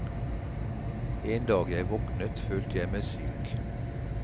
En dag jeg våknet følte jeg meg syk.